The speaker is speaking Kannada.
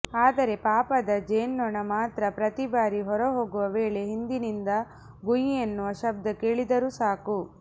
ಆದರೆ ಪಾಪದ ಜೇನ್ನೊಣ ಮಾತ್ರ ಪ್ರತಿಬಾರಿ ಹೊರಹೋಗುವ ವೇಳೆ ಹಿಂದಿನಿಂದ ಗುಂಯೆನ್ನುವ ಶಬ್ದ ಕೇಳಿದರೂ ಸಾಕು